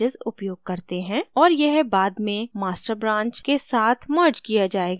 और यह बाद में master branch के साथ merged किया जायेगा